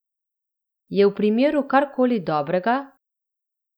Je v primeru kar koli dobrega?